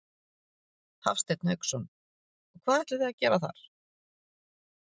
Hafsteinn Hauksson: Og hvað ætlið þið að gera þar?